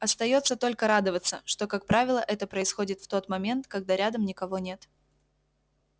остаётся только радоваться что как правило это происходит в тот момент когда рядом никого нет